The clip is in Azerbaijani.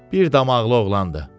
Bir damaqlı oğlandı.